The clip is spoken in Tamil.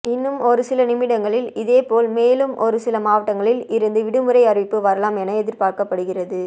இன்னும் ஒரு சில நிமிடங்களில் இதேபோல் மேலும் ஒரு சில மாவட்டங்களில் இருந்து விடுமுறை அறிவிப்பு வரலாம் என்று எதிர்பார்க்கப்படுகிறது